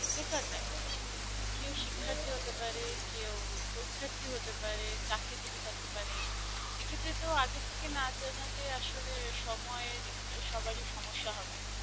বেকার না এই শিক্ষার্থী হতে পারে কেউ পরীক্ষার্থী হতে পারে চাকরিজীবী থাকতে পারে এক্ষেত্রে তো আগে থেকে না জানালে আঁচলে আসলে সময়ের সবারই সমস্যা হবে।